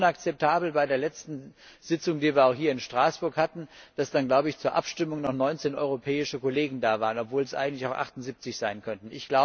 Ich finde es unakzeptabel, dass bei der letzten Sitzung, die wir hier in Straßburg hatten, zur Abstimmung noch 19 europäische Kollegen da waren, obwohl es eigentlich auch 78 sein könnten.